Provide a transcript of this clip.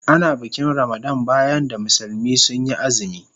Ana bikin Ramadan bayan da musulmi sun yi azumi.